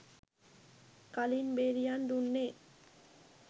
කලින් බෙරිහන් දුන්නේ